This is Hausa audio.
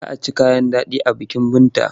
Za a ci kayan daɗi a bikin Binta.